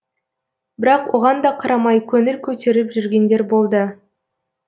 бірақ оған да қарамай көңіл көтеріп жүргендер болды